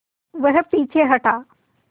वह पीछे हटा